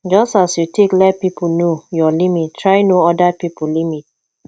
just as you take let pipo know your limit try know oda pipo limit